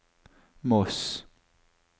Moss